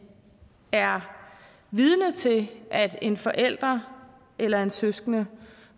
er vidner til at en forælder eller en søskende